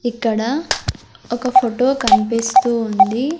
ఇక్కడ ఒక ఫుటో కన్పిస్తూ ఉంది.